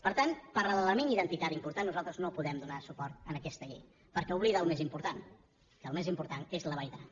per tant per l’element identitari important nosaltres no podem donar suport a aquesta llei perquè oblida el més important que el més important és la vall d’aran